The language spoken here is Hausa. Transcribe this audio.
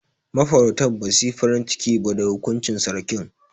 Ma farautan basu yi farin ciki ba da hukuncin Sarkin.